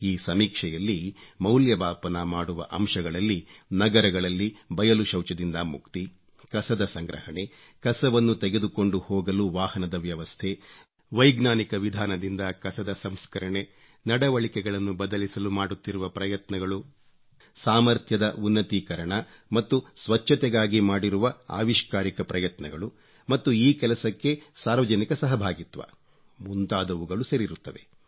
ಈ ಸಮೀಕ್ಷೆಯಲ್ಲಿ ಮೌಲ್ಯಮಾಪನ ಮಾಡುವ ಅಂಶಗಳಲ್ಲಿ ನಗರಗಳಲ್ಲಿ ಬಯಲು ಶೌಚದಿಂದ ಮುಕ್ತಿ ಕಸದ ಸಂಗ್ರಹಣೆ ಕಸವನ್ನು ತೆಗೆದುಕೊಂಡು ಹೋಗಲು ವಾಹನದ ವ್ಯವಸ್ಥೆ ವೈಜ್ಞಾನಿಕ ವಿಧಾನದಿಂದ ಕಸದ ಸಂಸ್ಕರಣೆ ನಡುವಳಿಕೆಗಳನ್ನು ಬದಲಿಸಲು ಮಾಡುತ್ತಿರುವ ಪ್ರಯತ್ನಗಳು ಸಾಮರ್ಥ್ಯದ ಉನ್ನತೀಕರಣ ಮತ್ತು ಸ್ವಚ್ಚತೆಗಾಗಿ ಮಾಡಿರುವ ಅವಿಷ್ಕಾರಿಕ ಪ್ರಯತ್ನಗಳು ಮತ್ತು ಈ ಕೆಲಸಕ್ಕೆ ಸಾರ್ವಜನಿಕ ಸಹಭಾಗಿತ್ವ ಮುಂತಾದವುಗಳು ಸೇರಿರುತ್ತವೆ